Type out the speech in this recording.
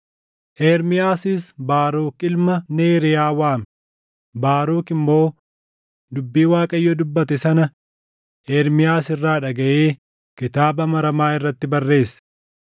Ermiyaasis Baaruk ilma Neeriyaa waame; Baaruk immoo dubbii Waaqayyo dubbate sana Ermiyaas irraa dhagaʼee kitaaba maramaa irratti barreesse.